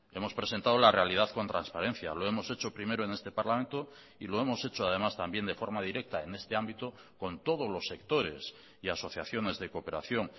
hemos presentado la realidad con transparencia lo hemos hecho primero en este parlamento y lo hemos hecho además también de forma directa en este ámbito con todos los sectores y asociaciones de cooperación